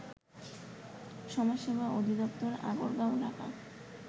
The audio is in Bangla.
সমাজসেবা অধিদপ্তর আগারগাঁও ঢাকা